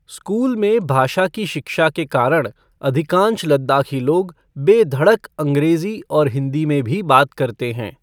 School में भाषा की शिक्षा के कारण अधिकांश लद्दाखी लोग बेधड़क अँग्रेजी और हिंदी में भी बात करते हैं।